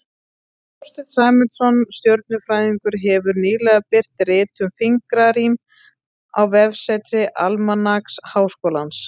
Þorsteinn Sæmundsson stjörnufræðingur hefur nýlega birt rit um fingrarím á vefsetri Almanaks Háskólans.